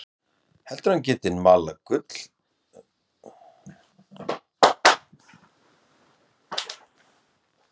Heldur að hann geti nú malað gull næstu vikur og mánuði.